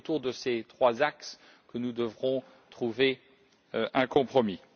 C'est autour de ces trois axes que nous devrons trouver un compromis.